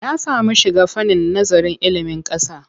Ya samu shiga fannin nazarin ilimin ƙasa.